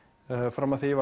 fram að því